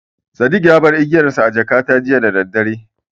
Sadik ya bar igiyarsa a jakata jiya daddare.